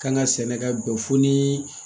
Kan ka sɛnɛ ka bɛn fo ni